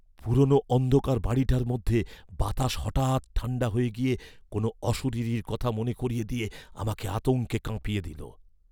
পুরনো অন্ধকার বাড়িটার মধ্যে বাতাস হঠাৎ ঠাণ্ডা হয়ে গিয়ে কোনো অশরীরীর কথা মনে করিয়ে দিয়ে আমাকে আতঙ্কে কাঁপিয়ে দিল।